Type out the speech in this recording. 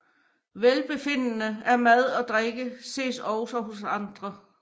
Velbefindende af mad og drikke ses også hos andre